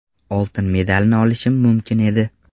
Oltin medalni olishim mumkin edi.